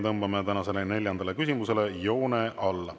Tõmbame tänasele neljandale küsimusele joone alla.